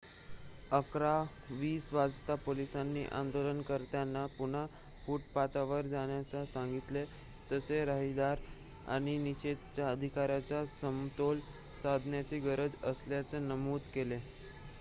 11:20 वाजता पोलिसांनी आंदोलनकर्त्यांना पुन्हा फुटपाथवर जाण्यास सांगितले तसेच रहदारी आणि निषेधाच्या अधिकाराचा समतोल साधण्याची गरज असल्याचे नमूद केले